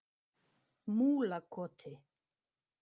Múlakoti